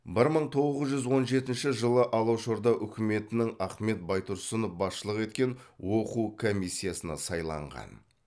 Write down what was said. бір мын тоғыз жүз он жетінші жылы алашорда үкіметінің ахмет байтұрсынов басшылық еткен оқу комиссиясына сайланған